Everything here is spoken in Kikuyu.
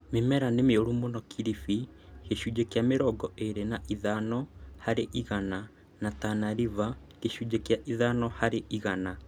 Mĩmera nĩ mĩũrũ mũno Kilifi (gĩcunjĩ kĩa mĩrongo ĩĩrĩ na ithano harĩ igana) na Tana River (gĩcunjĩ kĩa ithano harĩ igana)